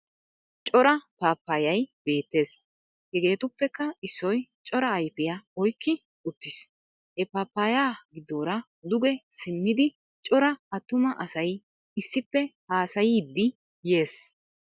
Cora papayay beettes. Hegeetuppekka issoy cora ayifiya oyikki uttis. He papaya giddoora duge simmidi cora attuma asay issippe haasayiiddi yees.